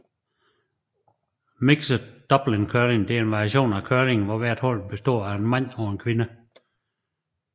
Mixed double curling er en variation af curling hvor hvert hold består af en mand og en kvinde